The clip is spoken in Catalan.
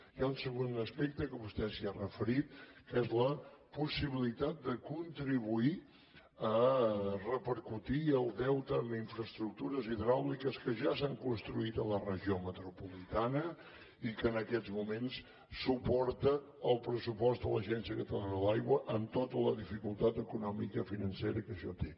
hi ha un segon aspecte que vostè s’hi ha referit que és la possibilitat de contribuir a repercutir el deute en infraestructures hidràuliques que ja s’han construït en la regió metropolitana i que en aquests moments suporta el pressupost de l’agència catalana de l’aigua amb tota la dificultat economicofinancera que això té